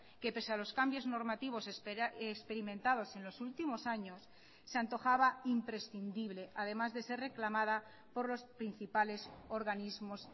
que pese a los cambios normativos experimentados en los últimos años se antojaba imprescindible además de ser reclamada por los principales organismos